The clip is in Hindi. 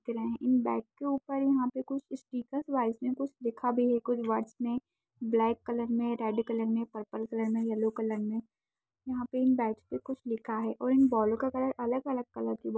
दिख रहें इन बैट के ऊपर यहाँ पर कुछ स्टिकर वायस में कुछ लिखा भी है कुछ वर्डस में ब्लैक कलर में रेड कलर में पर्पल में येलो कलर में यहाँ पे इन बैटस पे कुछ लिखा है और इन बॉलो का कलर अलग-अलग कलर की बॉल--